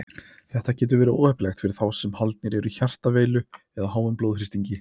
Þetta getur verið óheppilegt fyrir þá sem haldnir eru hjartaveilu eða háum blóðþrýstingi.